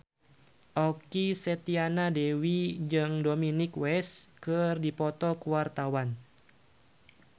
Okky Setiana Dewi jeung Dominic West keur dipoto ku wartawan